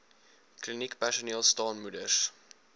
kliniekpersoneel staan moeders